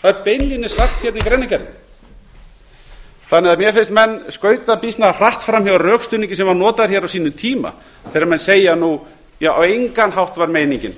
það er beinlínis sagt hérna í greinargerðinni mér finnst menn skauta býsna hratt fram hjá rökstuðningi sem var notaður hér á sínum tíma þegar menn segja nú að á engan hátt var meiningin